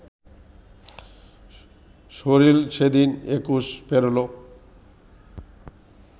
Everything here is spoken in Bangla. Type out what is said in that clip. শরীর সেদিন একুশ পেরোলো